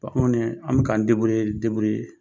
an kɔni, an bɛ k'an